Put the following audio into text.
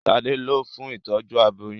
Ṣade lọ fún Ìtọ́jú aboyún.